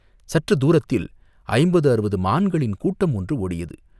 சற்றுத் தூரத்தில் ஐம்பது அறுபது மான்களின் கூட்டம் ஒன்று ஓடியது.